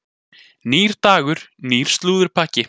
Nýr dagur, nýr slúðurpakki.